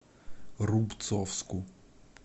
рубцовску